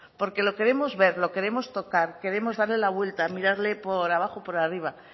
porque lo queremos ver lo queremos tocar queremos darle la vuelta mirarle por abajo y por arriba